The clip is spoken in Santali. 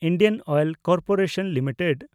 Indian oil corporation limited